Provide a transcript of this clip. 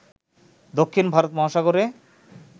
দক্ষিণ ভারত মহাসাগরে